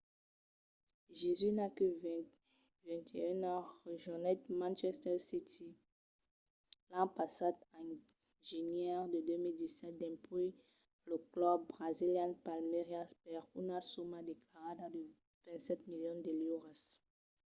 jesus qu'a 21 ans rejonhèt manchester city l’an passat en genièr de 2017 dempuèi lo club brasilian palmeiras per una soma declarada de 27 milions de liuras